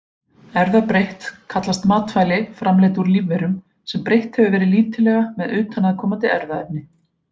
Erfðabreytt kallast matvæli framleidd úr lífverum, sem breytt hefur verið lítillega með utanaðkomandi erfðaefni.